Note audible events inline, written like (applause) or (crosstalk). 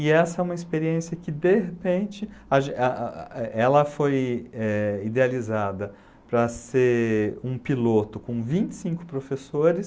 E essa é uma experiência que, de repente, a gen (unintelligible) ela foi eh idealizada para ser um piloto com vinte e cinco professores.